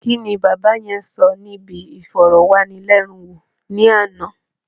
Kíni bàbá yẹn sọ níbi ìfọ̀rọ̀wánilénuwò ní àná?